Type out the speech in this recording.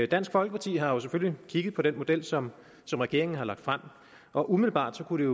dansk folkeparti har selvfølgelig kigget på den model som regeringen har lagt frem og umiddelbart kunne